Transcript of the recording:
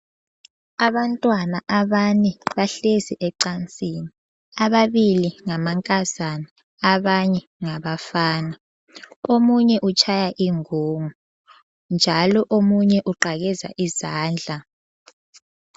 Abantwana abane bahlezi ecansini, ababili ngamankazana abanye ngabafana. Omunye utshaya ingungu njalo omunye uqakeza izandla.